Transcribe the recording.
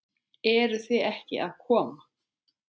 Eruð þið ekki að koma?